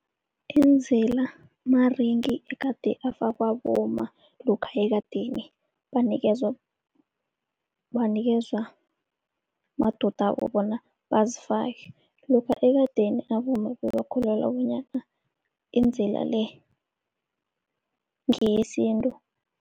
Idzila maringi egade afakwa bomma lokha ekadeni banikezwa madodabo bona bazifake. Lokha ekadeni abomma bebakholelwa bonyana idzila le ngeyesintu.